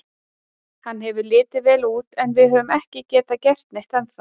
Hann hefur litið vel út en við höfum ekki getað gert neitt ennþá.